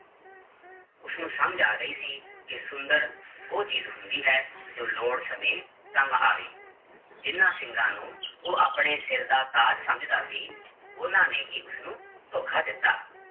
ਉਸਨੂੰ ਸਮਝ ਆ ਗਈ ਸੀ ਕਿ ਸੁੰਦਰ ਉਹ ਚੀਜ਼ ਹੁੰਦੀ ਹੈ ਜੋ ਲੋੜ ਸਮੇਂ ਕੰਮ ਆਵੇ, ਜਿਹਨਾਂ ਸਿੰਗਾਂ ਨੂੰ ਉਹ ਆਪਣੇ ਸਿਰ ਦਾ ਤਾਜ ਸਮਝਦਾ ਸੀ, ਉਹਨਾਂ ਨੇ ਹੀ ਉਸਨੂੰ ਧੋਖਾ ਦਿੱਤਾ